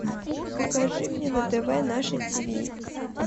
покажи мне на тв наше тиви